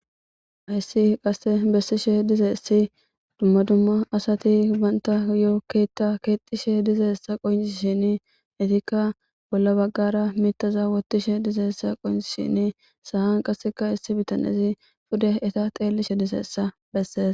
Hayssi qasse bessishe dizeessi dumma dumma asati banta yoo keta keexishe dizeessa qoyn shin itikka bolla baggara miitaza wottishe dizeessa qoyni shin sahan qasseka issi bitanezi pude eta xeellishe dizeessa besses